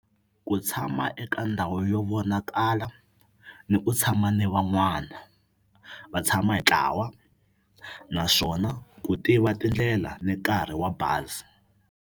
Ku tshama eka ndhawu yo vonakala ni ku tshama ni van'wana va tshama hi ntlawa naswona ku tiva tindlela ni nkarhi wa bazi.